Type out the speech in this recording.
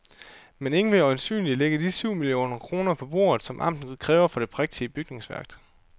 Men ingen vil øjensynligt lægge de syv millioner kroner på bordet, som amtet kræver for det prægtige bygningsværk.